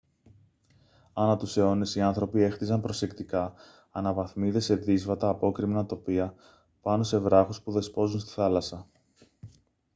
ανά τους αιώνες οι άνθρωποι έχτιζαν προσεκτικά αναβαθμίδες σε δύσβατα απόκρημνα τοπία πάνω σε βράχους που δεσπόζουν στη θάλασσα